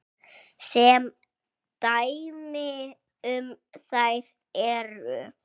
Sem dæmi um þær eru